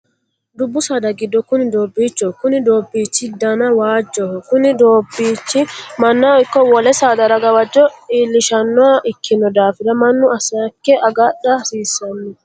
Dubu saada gido kunni doobiichoho. Konni doobiichi danni waajoho. Kunni daabiichi mannaho ikko wole saadara gawajo iilishanoha ikino daafiri munnu aseeke agadha hasiisano.